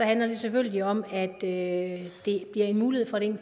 handler det selvfølgelig om at det bliver en mulighed for det